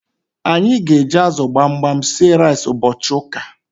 Anyi g'eji azu gbamgbam sie rice ubochi uka